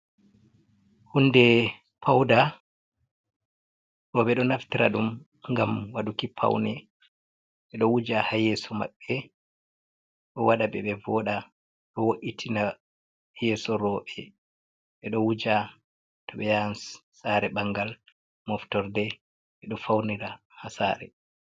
Hunde paude. Rowɓe ɗo naftira ɗum ngam waɗuki paune, ɓe ɗo wuja haa yeso maɓɓe, do waɗa ɓe ɓe voɗa, do wo’itina yeso rowɓe, ɓe ɗo wuja to ɓe yahan saare ɓangal, moftorde. Ɓe ɗo faunira haa saare.